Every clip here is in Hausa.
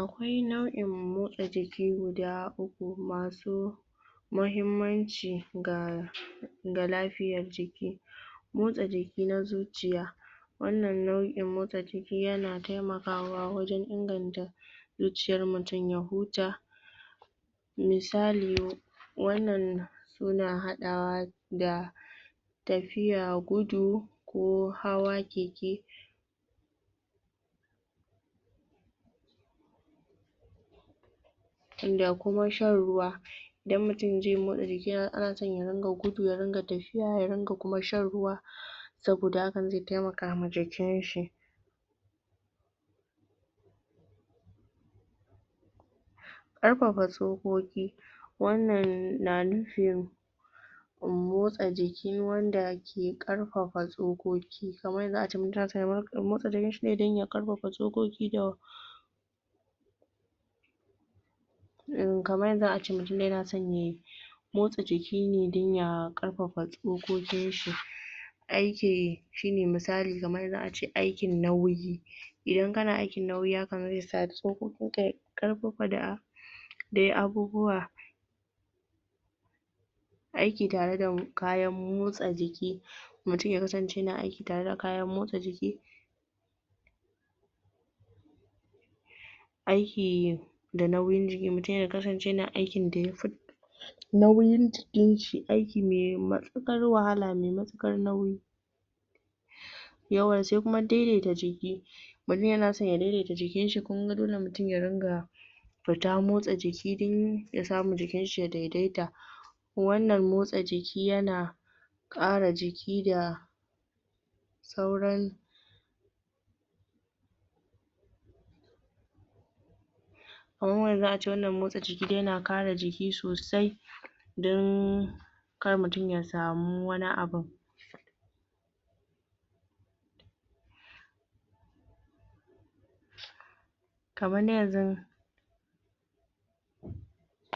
akwai nau'in motsa jiki guda uku masu mahimmanci ga ga lafiyar jiki motsa jiki na zuciya wannan nau'in motsa jiki yana taimakawa wajen inganta zuciyar mutum ya huta misali wannan muna hadawa da tafiya gudu ko hawa keke??????????????????????????????????????????????????????????????????? da kuma shan ruwa idan mutum zai motsa jiki ana son ya ringa gudu ya rin ga tafiya ya ringa kuma shan ruwa saboda hakan zai taimaka ma jikinshi????????????????????????????????????????????? karfafa tsokoki wannan na nufin motsa jiki wanda ke karfafa tsokoki da kamar yanxu ace mutum ya motsa jikinshi dan ya karfafa tsokoki???????????????????????????????? in kamar yanxu ace mutum yana so ye motsa jikine dan ya karfafa tsokokin shi aike shine misali kamar yanxu ace aikin nauyi idan kana aikin nauyi hakan zai sa tsokokin ka ya karfafa da dai abubuwa?????????????????? aiki tare da kayan motsa jiki mutum ya kasance yana aiki tare da kayan motsa jiki?????????????????????? aiki da nauyin jiki mutum ya kasance yana aikin da yafi nauyin jikinshi aikine me matukar wahala me matukar nauyi????? yauwa sai kuma daidaita jiki mutum yana so ya daidaita jikinshi kinga dole mutum ya ringa fita motsa jiki dan ya samu jikinshi ya daidaita wannan motsa jiki yana yana kara jiki da????? sauran??????????????????????????????????????????????????????? kamar yanxu ace wannan motsa jiki dai yana kare jiki sosai dan kar mutum ya samu wani abu??????????????????????????????????????????????????????????? kamar dai yanxu???????????????????????????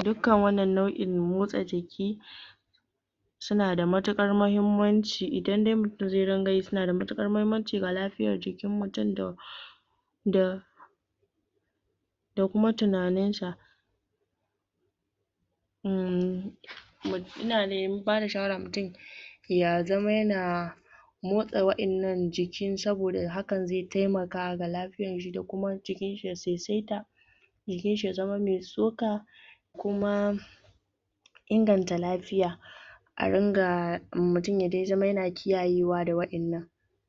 dukkan wannan nau'in motsa jiki suna da matukar mahimmanci idan dai mutum xai dunga yi suna da matukar mahimmanci ga lafiyar jikin mutum da????????????? da kuma tunaninsa???????????????? mmmm ina dai bada shawara mutum ya zama yana motsa wa'ennan jiki saboda hakan zai taimaka ga lafiyanshi da kuma jikinshi ya saisaita jikinshi ya zama me tsoka kuma inganta lafiya a ringa mutum ya dai zama yana kiyayewa da wa'ennan